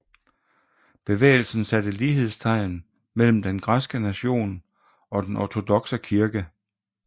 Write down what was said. Bevægelsen satte lighedstegn mellem den græske nation og den ortodokse kirke